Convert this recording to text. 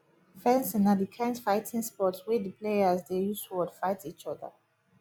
fencing na di kind fighting sport wey di players dey use sword fight each other